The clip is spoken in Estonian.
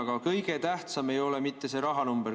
Aga kõige tähtsam ei ole mitte see rahanumber.